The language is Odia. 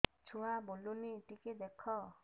ଛୁଆ ବୁଲୁନି ଟିକେ ଦେଖ